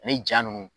Ani ja ninnu